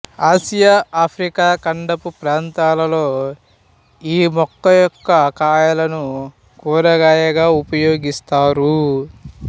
Asia Africa ఖండపు ప్రాంతాలలో ఈ మొక్క యొక్క కాయలను కూరగాయగా ఉపయోగిస్తారు